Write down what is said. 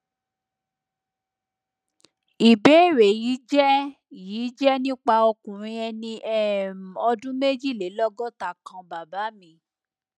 ìbéèrè yìí jẹ yìí jẹ nípa ọkùnrin ẹni um ọdún méjìlélọgọta kan baba mi